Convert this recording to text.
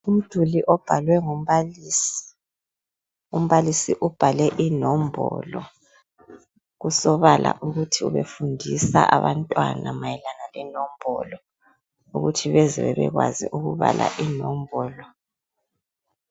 Umduli obhalwe ngumbalisi. Umbalisi ubhale inombolo, kusobala ukuthi ubefundisa abantwana mayelana lenombolo ukuthi beze bebekwazi ukubala inombolo.